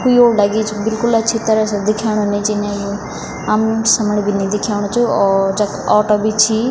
कुयोड़ लगी च बिलकुल अच्छी तरह से दिखेणु नी च इनेयी हम समण भी नी दिखेणु च और जख ऑटो भी छी।